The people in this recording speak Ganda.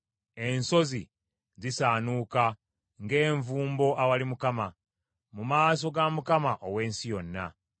Ensozi zisaanuuka ng’envumbo awali Mukama , mu maaso ga Mukama ow’ensi yonna.